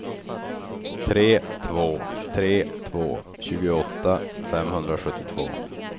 tre två tre två tjugoåtta femhundrasjuttiotvå